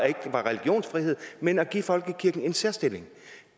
ikke var religionsfrihed men at give folkekirken en særstilling